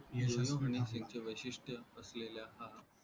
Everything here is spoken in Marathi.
हनी सिंगच वैशिष्ट्य असलेला हा